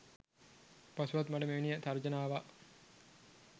පසුවත් මට මෙවැනි තර්ජන ආවා